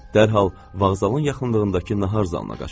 Dərhal vağzalın yaxınlığındakı nahar zalına qaçdı.